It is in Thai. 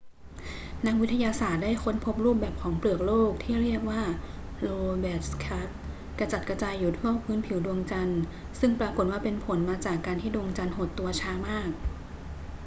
นักวิทยาศาสตร์ได้ค้นพบรูปแบบของเปลือกโลกที่เรียกว่า lobate scarp กระจัดกระจายอยู่ทั่วพื้นผิวดวงจันทร์ ซึ่งปรากฏว่าเป็นผลมาจากการที่ดวงจันทร์หดตัวช้ามาก